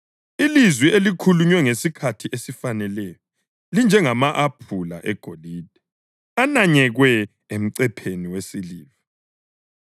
Ilizwi elikhulunywe ngesikhathi esifaneleyo linjengama-aphula egolide ananyekwe emcepheni wesiliva.